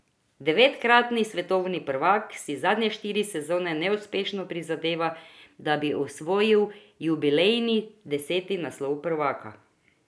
Devetkratni svetovni prvak si zadnje štiri sezone neuspešno prizadeva, da bi osvojil jubilejni deseti naslov prvaka.